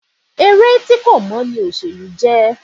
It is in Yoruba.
Eré tí kò mọ́ ní òṣèlú jẹ́.